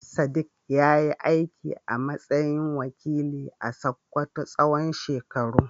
Sadiq ya yi aiki a matsayin wakilin a Sakkwato tsawon shekaru.